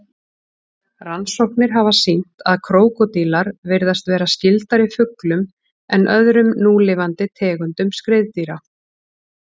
Rannsóknir hafa sýnt að krókódílar virðast vera skyldari fuglum en öðrum núlifandi tegundum skriðdýra.